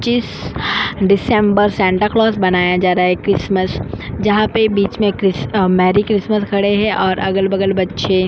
किस December Santa Claus बनाया जा रहा है क्रिसस्मस जहापर बिच में अ मेरी क्रिसस्मस खड़े है और अगल बगल बच्चे --